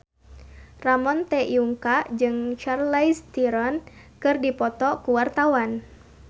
Ramon T. Yungka jeung Charlize Theron keur dipoto ku wartawan